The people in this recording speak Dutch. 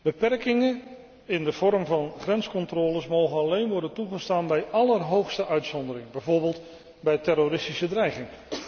Beperkingen in de vorm van grenscontroles mogen alleen worden toegestaan bij allerhoogste uitzondering, bijvoorbeeld bij terroristische dreiging.